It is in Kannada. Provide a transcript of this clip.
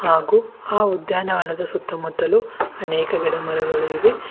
ಹಾಗೂ ಆ ಉದ್ಯಾನವನದ ಸುತ್ತಮುತ್ತಲು ಅನೇಕ ಕಡೆ ಮರಗಳು ಇವೆ.